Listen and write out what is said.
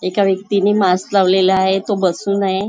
एका व्यक्तीने मास्क लावलेला आहे तो बसून आहे.